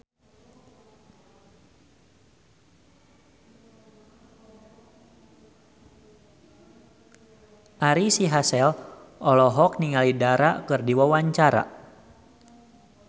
Ari Sihasale olohok ningali Dara keur diwawancara